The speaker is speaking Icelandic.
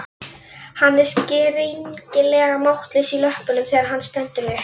Hann er skringilega máttlaus í löppunum þegar hann stendur upp.